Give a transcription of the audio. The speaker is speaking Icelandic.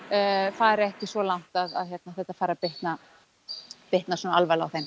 fari ekki svo langt að þetta fari að bitna bitna svo alvarlega á þeim